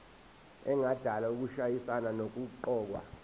engadala ukushayisana nokuqokwa